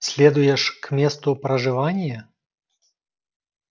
следуешь к месту проживания